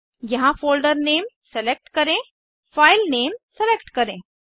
यहाँ folder name select करें file name select करें